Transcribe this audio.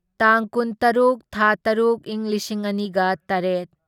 ꯇꯥꯡ ꯀꯨꯟꯇꯔꯨꯨꯛ ꯊꯥ ꯇꯔꯨꯛ ꯢꯪ ꯂꯤꯁꯤꯡ ꯑꯅꯤꯒ ꯇꯔꯦꯠ